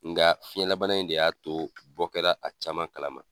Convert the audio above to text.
Nka fiɲɛlabana in de y'a to bɔ kɛra, a caman kalama.